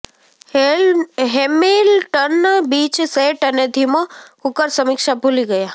Hamilton Beach set અને ધીમો cooker સમીક્ષા ભુલી ગયા